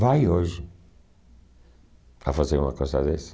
Vai hoje a fazer uma coisa dessa.